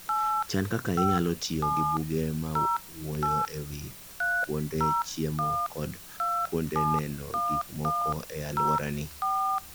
Chan kaka inyalo tiyo gi buge mawuoyo e wi kuonde chiemo kod kuonde neno gik moko e alworani.